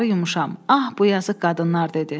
Ah bu yazıq qadınlar dedi.